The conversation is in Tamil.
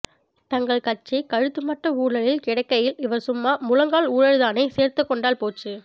தங்கள் கட்சி கழுத்து மட்ட ஊழலில் கிடக்கையில் இவர்சும்மா முழங்கால் ஊழல்தானே சேர்த்துக் கொண்டால் போச்சு